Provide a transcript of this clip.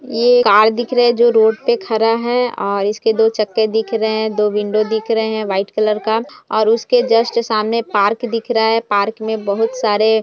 ये कार दिख रही है जो रोड पे खड़ा है और इसके दो चक्के दिख रहे हैं और दो विंडो दिख रहे हैं व्हाइट कलर का और उसके जस्ट सामने पार्क दिख रहा है पार्क में बहुत सारे--